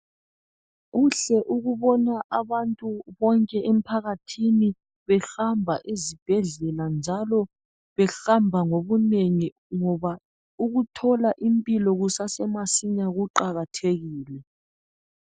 Kuhle ukubona abantu bonke emphakathini behamba ezibhedlela njalo behamba ngobunengi ngoba ukuthola impilo kusasemasinya kuqakathekile.